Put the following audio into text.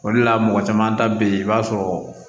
O de la mɔgɔ caman ta bɛ yen i b'a sɔrɔ